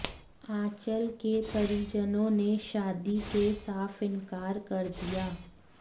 आंचल के परिजनों ने शादी से साफ इनकार कर दिया